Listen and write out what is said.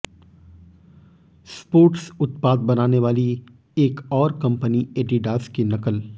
sports उत्पाद बनाने वाली एक और कंपनी एडिडास की नकल